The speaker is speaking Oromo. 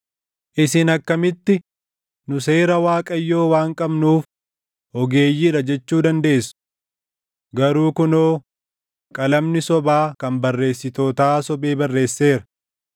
“ ‘Isin akkamitti, “Nu seera Waaqayyoo waan qabnuuf ogeeyyii dha” jechuu dandeessu? Garuu kunoo, qalamni sobaa kan barreessitootaa sobee barreesseera.